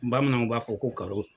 Bamananw b'a fɔ ko karo.